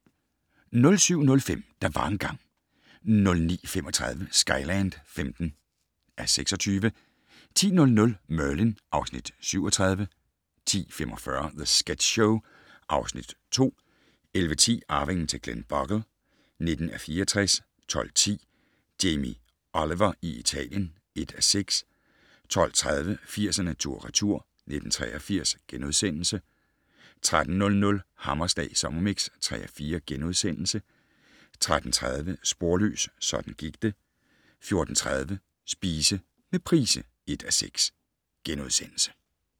07:05: Der var engang ... 09:35: Skyland (15:26) 10:00: Merlin (Afs. 37) 10:45: The Sketch Show (Afs. 2) 11:10: Arvingen til Glenbogle (19:64) 12:10: Jamie Oliver i Italien (1:6) 12:30: 80'erne tur/retur: 1983 * 13:00: Hammerslag Sommermix (3:4)* 13:30: Sporløs, sådan gik det 14:30: Spise med Price (1:6)*